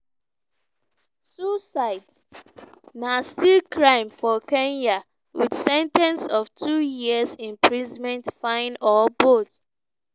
suicides na still crime for kenya wit sen ten ce of two years imprisonment fine or both.